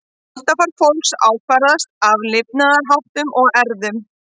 Holdafar fólks ákvarðast af lifnaðarháttum og erfðum.